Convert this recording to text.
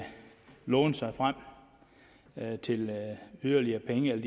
låne sig frem til yderligere penge eller